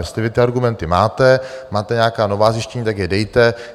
Jestli vy ty argumenty máte, máte nějaká nová zjištění, tak je dejte.